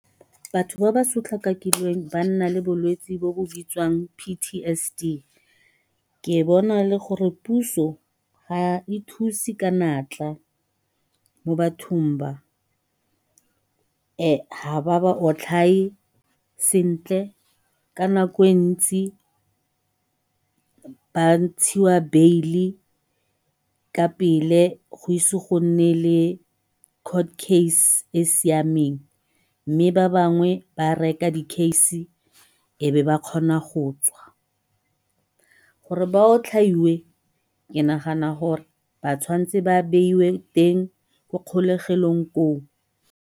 Batho ba ba sotlakakilweng ba nna le bolwetsi jo bo bitswang P_T_S_D ke bona le gore puso ga e thusi ka natla mo bathong ba, ga ba ba otlhaye sentle ka nako e ntsi ba ntshiwa beile ka pele go ise go nne le court case e e siameng mme ba bangwe ba reka di case e be ba kgona go tswa. Gore ba otlhaiwe ke nagana gore ba tshwanetswe ba beiwe teng ko kgolegelong koo.